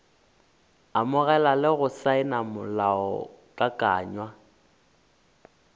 amogela le go saena molaokakanywa